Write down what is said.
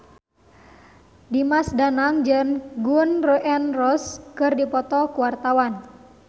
Dimas Danang jeung Gun N Roses keur dipoto ku wartawan